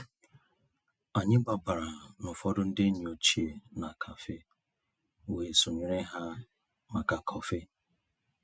Ànyị́ gbabàrà ná ụ̀fọ̀dụ̀ ndí ényí òchie ná cafe wéé sonyéré há màkà kọ́fị̀.